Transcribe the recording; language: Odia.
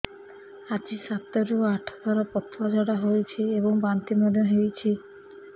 ଆଜି ସାତରୁ ଆଠ ଥର ପତଳା ଝାଡ଼ା ହୋଇଛି ଏବଂ ବାନ୍ତି ମଧ୍ୟ ହେଇଛି